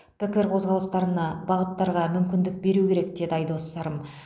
пікір қозғалыстарына бағыттарға мүмкіндік беру керек деді айдос сарым